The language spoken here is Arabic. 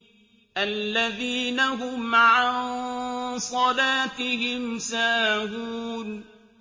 الَّذِينَ هُمْ عَن صَلَاتِهِمْ سَاهُونَ